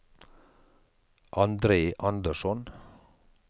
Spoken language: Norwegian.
Andre Andersson